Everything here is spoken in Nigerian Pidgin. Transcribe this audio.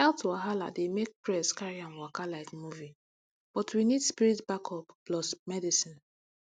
health wahala dey make press carry am waka like movie but we need spirit backup plus medicine